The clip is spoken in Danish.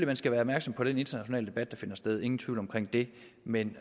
man skal være opmærksom på den internationale debat der finder sted ingen tvivl om det men